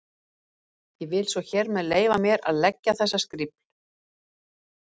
Ég vil svo hér með leyfa mér að leggja þessa skrifl.